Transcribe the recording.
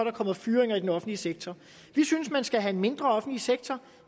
er kommet fyringer i den offentlige sektor vi synes man skal have en mindre offentlig sektor